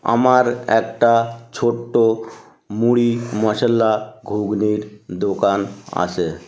আমার একটা ছোট্ট মুড়ি মশলা ঘুগনির দোকান আছে।